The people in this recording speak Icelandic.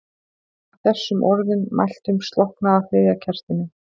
Að þessum orðum mæltum slokknaði á þriðja kertinu.